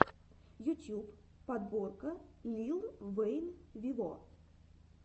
ютьюб подборка лил вэйн виво